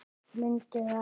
Mundu það.